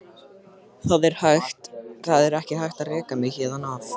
Það er ekki hægt að reka mig héðan af.